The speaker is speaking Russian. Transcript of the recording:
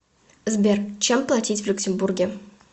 сбер чем платить в люксембурге